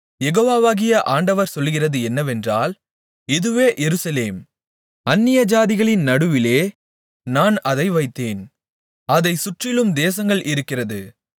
யெகோவாகிய ஆண்டவர் சொல்லுகிறது என்னவென்றால் இதுவே எருசலேம் அந்நியஜாதிகளின் நடுவிலே நான் அதை வைத்தேன் அதைச் சுற்றிலும் தேசங்கள் இருக்கிறது